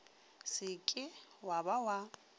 se ke wa ba wa